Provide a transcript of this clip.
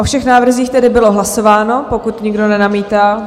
O všech návrzích tedy bylo hlasováno, pokud nikdo nenamítá?